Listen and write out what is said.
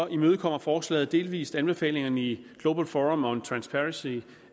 imødekommer forslaget delvis anbefalingerne i global forum on transparency